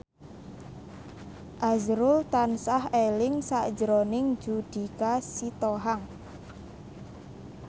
azrul tansah eling sakjroning Judika Sitohang